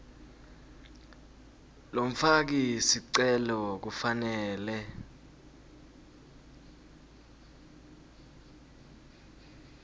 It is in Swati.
lomfaki sicelo kufanele